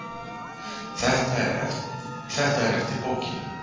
Þetta er eftir bókinni